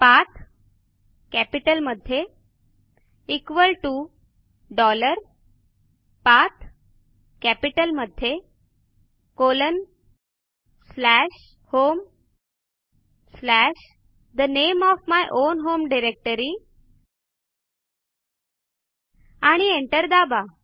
PATHकॅपिटलमध्ये equal to dollar PATHकॅपिटलमध्ये colon slash home slash the name of my own home directory आणि enter दाबा